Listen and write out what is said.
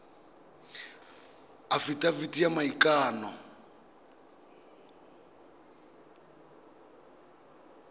afitafiti ya maikano e e